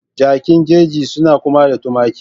Jakin jeji suna kama da tumaki